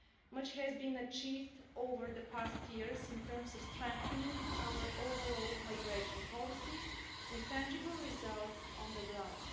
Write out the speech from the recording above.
Much has been achieved over the past years in terms of strengthening our overall migration policy, with tangible results on the ground.